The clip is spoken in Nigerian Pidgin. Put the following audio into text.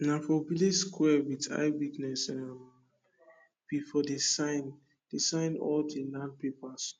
nah for village sqare wit eye witness um we for dey sign dey sign all de land papers